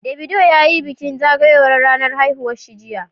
Davido ya yi bikin zagayowa ranar haihuwar shi jiya